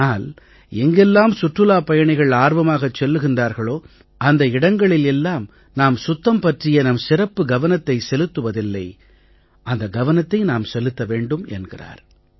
ஆனால் எங்கெல்லாம் சுற்றுலாப் பயணிகள் ஆர்வமாகச் செல்கிறார்களோ அந்த இடங்களில் எல்லாம் நாம் சுத்தம் பற்றிய நம் சிறப்பு கவனத்தைச் செலுத்துவதில்லை அந்த கவனத்தை நாம் செலுத்த வேண்டும் என்கிறார்